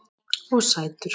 Og sætur.